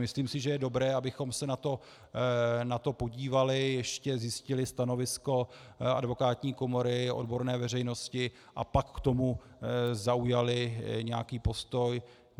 Myslím si, že je dobré, abychom se na to podívali, ještě zjistili stanovisko advokátní komory, odborné veřejnosti, a pak k tomu zaujali nějaký postoj.